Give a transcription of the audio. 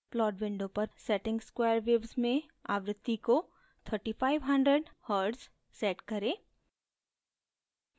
plot window पर setting square waves में आवृत्ति को 3500hz set करें